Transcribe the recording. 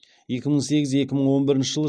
екі мың сегіз екі мың он бірінші жылы